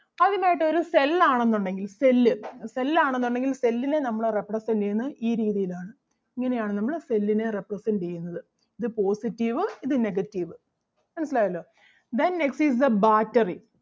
ആദ്യമായിട്ട് ഒരു cell ആണെന്നുണ്ടെങ്കിൽ cell അഹ് cell ആണെന്നുണ്ടെങ്കിൽ cell നെ നമ്മള് represent ചെയ്യുന്നത് ഈ രീതിയിൽ ആണ്. ഇങ്ങനെ ആണ് നമ്മള് cell നെ represent ചെയ്യുന്നത്. ഇത് positive ഇത് negative. മനസിലായല്ലോ hen next is the battery